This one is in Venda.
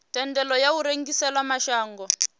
thendelo ya u rengisela mashango